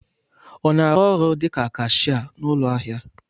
Ọ na-arụ ọrụ dịka kashia n'ụlọ ahịa?